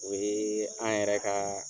O ye an yɛrɛ ka